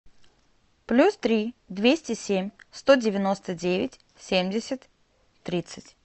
плюс три двести семь сто девяносто девять семьдесят тридцать